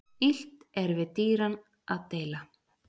Illt er við dýran að deila.